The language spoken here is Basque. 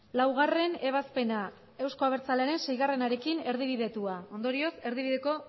laugarrena ebazpena euzko abertzalearen seiarekin erdibidetua ondorioz erdibideko